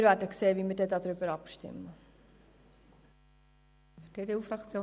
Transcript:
Wir werden sehen, wie wir abstimmen werden.